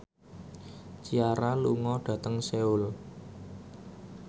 Ciara lunga dhateng Seoul